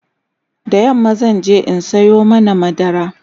da yamma zanje in Sayo mana madara